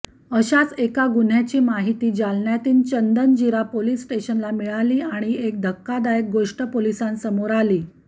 अशाच एका गुन्ह्याची माहिती जालन्यातील चंदनजीरा पोलीस स्टेशनला मिळाली आणि एक धक्कादायक गोष्ट पोलिसांसमोर आली